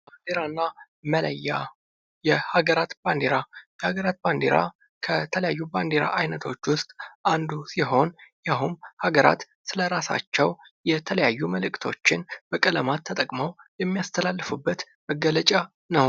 ባንድራና መለያ የሀገራት ባንድራ የሀገራት ባንዲራ ከተለያዩ ባንድራ አይነቶች ውስጥ አንዱ ሲሆን ይኸውም ሀገራት ለራሳቸው የተለያዩ መልእክቶችን በቀለማት ተጠቅመው የሚያስተላልፉበት መገለጫ ነው።